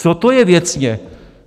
Co to je věcně?